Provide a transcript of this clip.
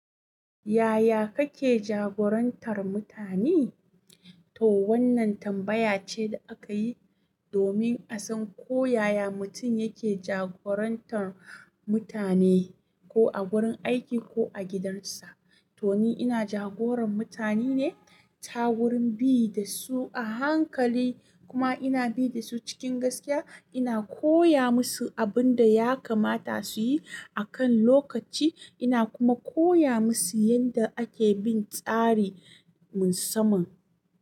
Yaya kake jagorantar mutane? To wannan tambaya ce da aka yi domin a san ko yaya mutum yake jagorantar mutane, ko a wurin aiki ko a gidansa. To ni ina jagoran mutane ne ta wurin bi da su a hankali kuma ina bi da su cikin gaskiya. Ina koya musu abin da ya kamata su yi akan lokaci. Ina kuma koya musu yadda ake bin tsarin sama.